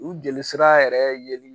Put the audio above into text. U jeli sira yɛrɛ yeli